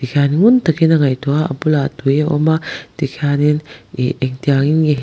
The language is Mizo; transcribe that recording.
ngun tak in a ngaihtuah a a bulah tui a awm a tikhianin ih engtiang in nge--